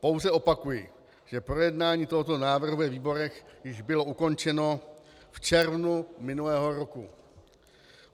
Pouze opakuji, že projednání tohoto návrhu ve výborech již bylo ukončeno v červnu minulého roku.